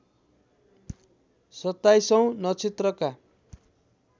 सत्ताईसौँ नक्षत्रका